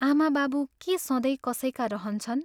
आमा बाबु के सधैँ कसैका रहन्छन्?